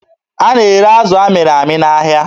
A na-ere azụ amịrị amị n'ahịa